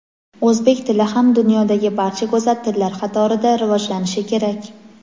O‘zbek tili ham dunyodagi barcha go‘zal tillar qatorida rivojlanishi kerak.